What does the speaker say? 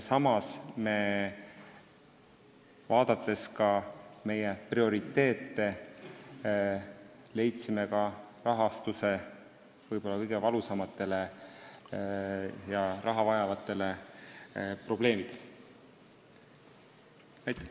Samas me, vaadates prioriteete, leidsime rahastuse võib-olla kõige valusamate ja kõige rohkem raha vajavate probleemide lahendamiseks.